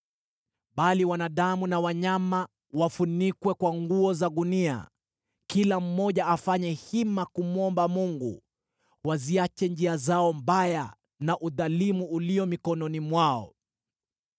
Bali wanadamu na wanyama wafunikwe kwa nguo za gunia. Kila mmoja afanye hima kumwomba Mungu. Waziache njia zao mbaya na udhalimu ulio mikononi mwao.